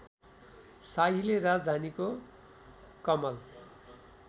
शाहीले राजधानीको कमल